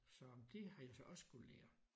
Så det har jeg så også skulle lære